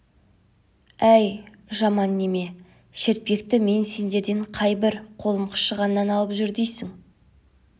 әй жаман неме шертпекті мен сендерден қайбір қолым қышығаннан алып жүр дейсің